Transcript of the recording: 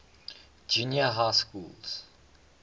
junior high schools